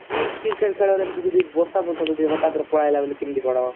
କି cricket ଖେଳରେ ଏମିତି ଯଦି ବର୍ଷା ଫର୍ଷା ଯଦି ହଟାତ ରେ ପଳେଇ ଆଇଲା ବେଲେ କେମିତି କଣ? ବର୍ଷା